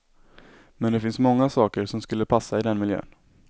Men det finns många saker som skulle passa i den miljön.